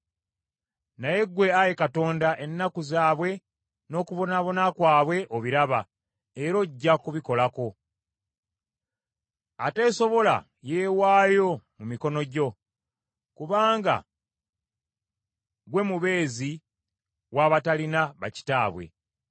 Naye ggwe, Ayi Katonda, ennaku zaabwe n’okubonaabona kwabwe obiraba era ojja kubikolako. Ateesobola yeewaayo mu mikono gyo, kubanga gwe mubeezi w’abatalina bakitaabwe.